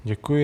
Děkuji.